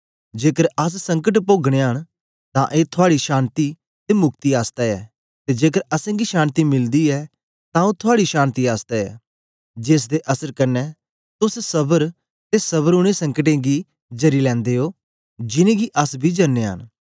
जेकर अस संकट पोगनयां न तां ए थुआड़ी शान्ति ते मुक्ति आसतै ऐ ते जेकर असेंगी शान्ति मिलदी यै तां ओ थुआड़ी शान्ति आसतै ऐ जेसदे असर कन्ने तोस सबर दे कन्ने उनै संकटें गी जरी लैंदे ओ जिनेंगी अस बी जरनयां न